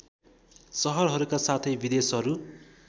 सहरहरूका साथै विदेशहरू